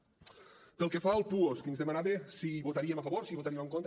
pel que fa al puosc ens demanava si hi votaríem a favor si hi votaríem en contra